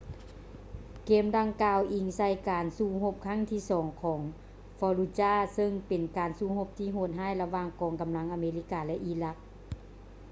ເກມດັ່ງກ່າວອີງໃສ່ການສູ້ຮົບຄັ້ງທີສອງຂອງ fallujah ເຊິ່ງເປັນການສູ້ຮົບທີ່ໂຫດຮ້າຍລະຫວ່າງກອງກຳລັງອາເມລິກາ ແລະ ອີຣັກ